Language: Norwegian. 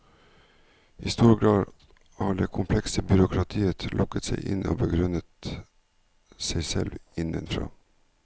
I stor grad har det komplekse byråkratiet lukket seg inne og begrunnet seg selv innenfra.